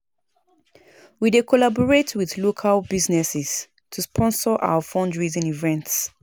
We dey collaborate with local businesses to sponsor our fundraising events.